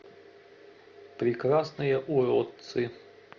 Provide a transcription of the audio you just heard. прекрасные уродцы